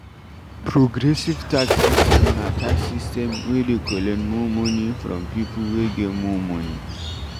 Progressive tax system na tax system wey dey collect more money from pipo wey get more money